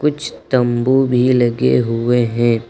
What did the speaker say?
कुछ तंबू भी लगे हुए हैं।